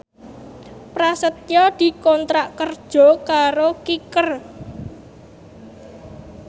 Prasetyo dikontrak kerja karo Kicker